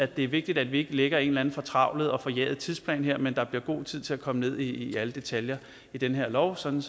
det er vigtigt at vi ikke lægger en eller anden fortravlet og forjaget tidsplan her men at der bliver god tid til at komme ned i alle detaljer i den her lov sådan